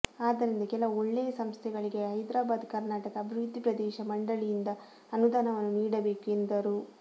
ಆದ್ದರಿಂದ ಕೆಲವು ಒಳ್ಳೆಯ ಸಂಸ್ಥೆಗಳಿಗೆ ಹೈದ್ರಾಬಾದ ಕರ್ನಾಟಕ ಅಭಿವೃದ್ಧಿ ಪ್ರದೇಶ ಮಂಡಳಿಯಿಂದ ಅನುದಾನವನ್ನು ನೀಡಬೇಕು ಎಂದರು